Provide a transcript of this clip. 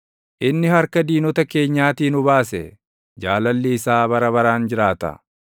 inni harka diinota keenyaatii nu baase, Jaalalli isaa bara baraan jiraata.